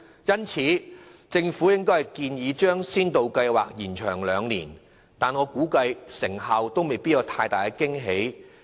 因此，即使政府建議將先導計劃延長兩年，我估計其成效亦未必有太大驚喜。